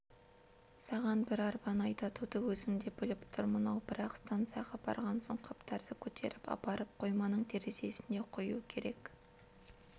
саған бір арбаны айдатуды өзім де біліп тұрмын-ау бірақ станцияға барған соң қаптарды көтеріп апарып қойманың терезесінен құю керек